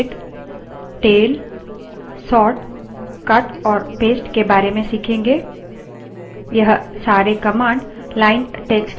यहाँ हम head head tail tail sort sort cut cut और paste paste के बारे में सीखेंगे